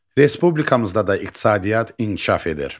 Respublikamızda da iqtisadiyyat inkişaf edir.